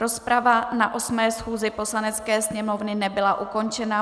Rozprava na 8. schůzi Poslanecké sněmovny nebyla ukončena.